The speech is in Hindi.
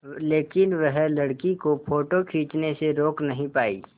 लेकिन वह लड़की को फ़ोटो खींचने से रोक नहीं पाई